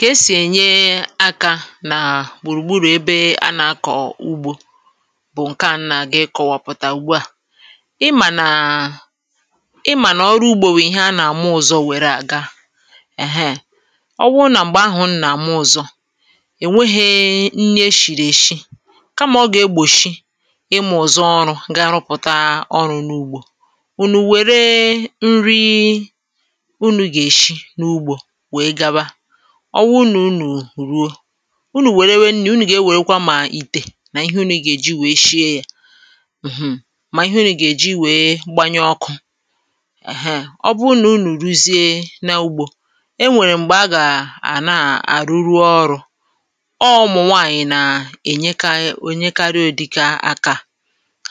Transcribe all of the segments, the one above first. ka esì ènye akȧ nà gbùrùgburù ebe a nà-akọ̀ ugbȯ bụ̀ ǹke ànna gà-ịkọwọpụ̀tà ugbu à ị mà nà ị mà nà ọrụ ugbȯ bụ̀ ihe a nà-àmụ ụ̇zọ̇ wère àga èheè ọ wụrụ nà m̀gbè ahụ̀ n nà-àmụ ụ̇zọ̇ è nwehė nni eshìrì eshi kamà ọ gà-egbò shi imȧ ụ̀zọ ọrụ̇ gà-arụpụ̀ta ọrụ̇ n’ugbȯ ọ wụ̀ nà unù ruo unù wère nni̇ unù gà-ewèkwa mà ìtè nà ihe unù ị gà-èji wèe shie yȧ mm mà ihe unù gà-èji wèe gbanye ọkụ̇ heè, ọ bụ unù unù rùzie n’ugbȯ e nwèrè m̀gbè a gà-àna àrụrụ ọrụ̇ ọ mụ̀nwaànyị̀ nà ènyekà..ènyekarị ụ̀dịka akȧ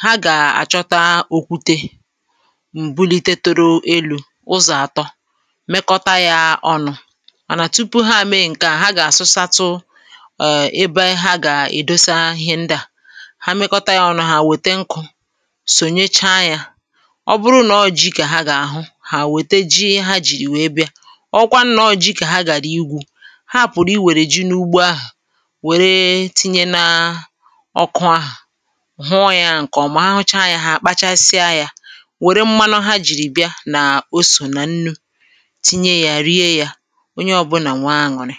hȧ gà-àchọta okwute ànà tupu ha àmị ǹkè à ha gà-àsụsatu̇ ẹ̀bẹ ha gà-èdosa ihe ndị à ha mịkọta yȧ ọ nọ̇ hà wète nkụ̇ sònecha yȧ ọ bụrụ nà ọ ji kà ha gà-àhụ hà wète ji ha jìrì wèe bịa ọ gwanụ nà ọ ji kà ha gàra igwu̇ ha àpụ̀rụ̀ i wèrè ji n’ugbo ahụ̀ wère tinye nȧ ọkụ ahụ̀ hụọ yȧ ǹkè ọ̀ mụcha yȧ ha àkpachasịa yȧ wère mmanụ ha jìrì bịa nà o sò nà nnu̇ onye ọ̇bụ̇nà nwee aṅụrị̀